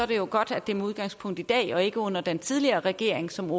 det er godt at det er med udgangspunkt i dag og ikke under den tidligere regering som